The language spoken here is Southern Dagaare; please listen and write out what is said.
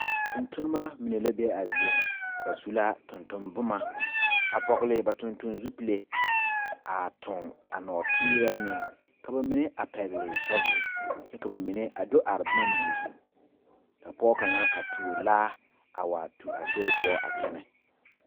Tontonma mene la be a zie ŋa. Ba su la tonton boma, a vogle ba tonton zupule, a toŋ a norterɛ meŋ. Ka ba mene a pɛgle shɔvul. Kyɛ ka ba mene a do are boma mene zu. Ka pɔgɔ kanga a tuo laa a wa tu a sori poʊ a kyɛne.